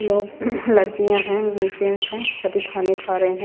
लोग लड़कियां हैं जेंट्स है सभी खाने खा रहे है ।